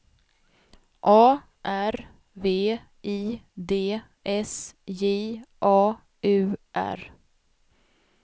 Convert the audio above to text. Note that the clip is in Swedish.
A R V I D S J A U R